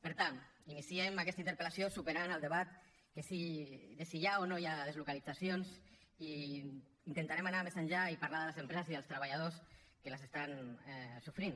per tant iniciem aquesta interpel·lació superant el debat de si hi ha o no hi ha deslocalitzacions i intentarem anar més enllà i parlar de les empreses i els treballadors que les estan sofrint